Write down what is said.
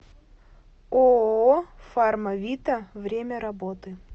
ооо фарма вита время работы